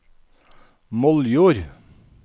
Moldjord